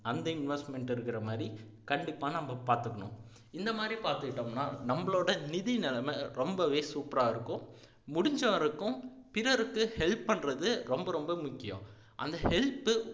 அந்த investment இருக்கிறமாதிரி கண்டிப்பா நம்ம பாத்துக்கணும் இந்த மாதிரி பாத்துகிட்டோம்னா நம்மளோட நிதி நிலைமை ரொம்பவே super ஆ இருக்கும் முடிஞ்சவரைக்கும் பிறருக்கு help பண்றது ரொம்ப ரொம்ப முக்கியம் அந்த help